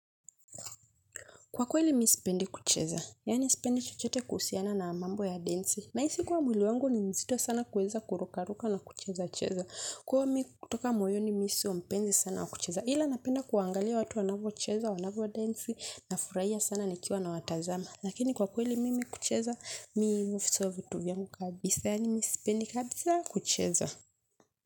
Kwa kweli mi sipendi kucheza. Yaani sipendi chochote kuhusiana na mambo ya densi. Nahisi kuwa mwili wangu ni mzito sana kuweza kurukaruka na kuchezacheza. Kwani kutoka moyoni mi si wa mpenzi sana wa kucheza. Ila napenda kuangalia watu wanavyocheza, wanavyodensi; nafurahia sana nikiwa nawatazama. Lakini kwa kweli mimi kucheza mi huvisahau vitu vyangu kabisa. Yaani mimi sipendi kabisa kucheza.